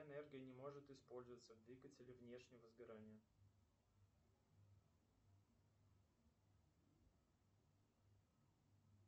энергия не может использоваться в двигателе внешнего сгорания